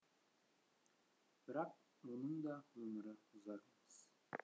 бірақ оның да өмірі ұзақ емес